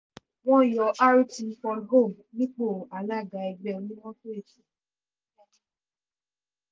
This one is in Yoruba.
wọ́n yọ rt olhomme nípò alága ẹgbẹ́ onímọ́tò èkó